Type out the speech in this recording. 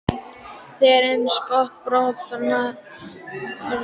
Þegar innskot bráðinnar kviku, um eða yfir